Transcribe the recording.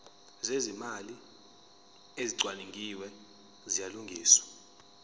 zezimali ezicwaningiwe ziyalungiswa